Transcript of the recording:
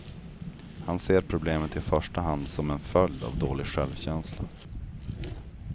Han ser problemet i första hand som en följd av dålig självkänsla.